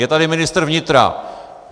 Je tady ministr vnitra.